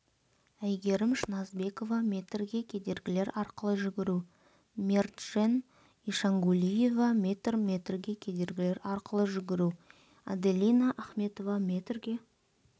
әйгерім шыназбекова метрге кедергілер арқылы жүгіру мерджен ишангулиева метр метрге кедергілер арқылы жүгіру аделина ахметова метрге